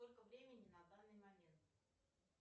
сколько времени на данный момент